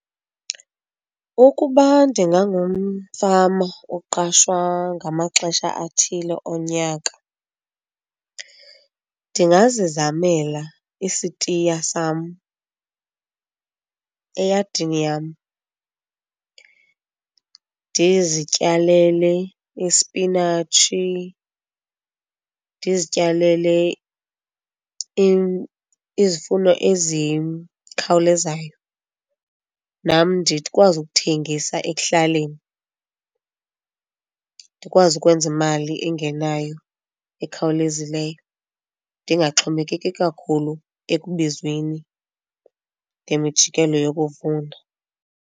Ukuba ndingangumfama oqashwa ngamaxesha athile onyaka, ndingazizamela isitiya sam eyadini yam. Ndizityalele ispinatshi, ndizityalele izifuno ezikhawulezayo nam ndikwazi ukuthengisa ekuhlaleni, ndikwazi ukwenza imali engenayo ekhawulezileyo, ndingaxhomekeki kakhulu ekubizweni ngemijikelo yokuvuna.